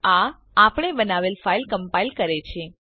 આ આપણે બનાવેલ ફાઈલ કમ્પાઈલ કરે છે